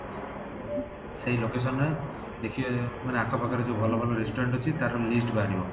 ସେଇ location ରେ ଦେଖିବେ ମାନେ ଆଖ ପାଖରେ ଭଲ ଭଲ restaurant ଅଛି ତାର list ବାହାରିବ